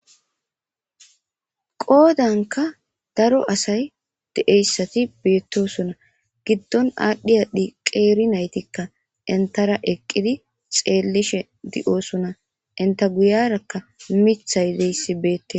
qoodanka daro asay de7eyssati beettosona giddon aadhdhiyadi qeeri naytikka intara eqqidi xeellishe di7oosuna inta guyarakka mithay deyssi beettes